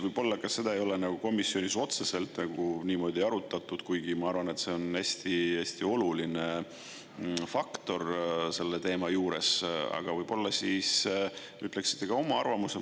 Võib-olla seda ei ole komisjonis otseselt arutatud, kuigi ma arvan, et see on hästi oluline faktor selle teema juures, aga võib-olla ütleksite ka oma arvamuse.